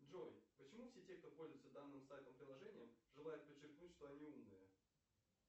джой почему все те кто пользуется данным сайтом приложением желают подчеркнуть что они умные